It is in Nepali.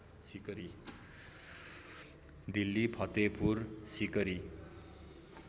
दिल्ली फतेहपुर सीकरी